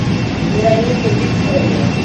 вероника викторовна